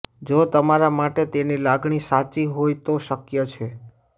જો તમારા માટે તેની લાગણી સાચી હોય તો શક્ય છે